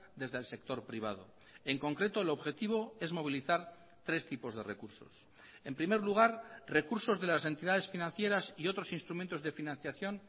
desde el sector privado en concreto el objetivo es movilizar tres tipos de recursos en primer lugar recursos de las entidades financieras y otros instrumentos de financiación